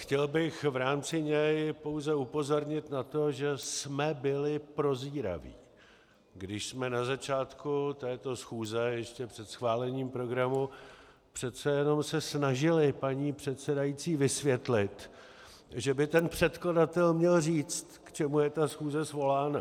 Chtěl bych v rámci něj pouze upozornit na to, že jsme byli prozíraví, když jsme na začátku této schůze ještě před schválením programu přece jenom se snažili paní předsedající vysvětlit, že by ten předkladatel měl říct, k čemu je ta schůze svolána.